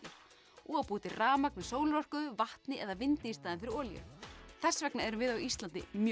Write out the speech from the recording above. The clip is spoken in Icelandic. og búa til rafmagn með sólarorku vatni eða vindi í staðinn fyrir olíu þess vegna erum við á Íslandi mjög